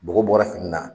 Bɔgɔ bɔra fini na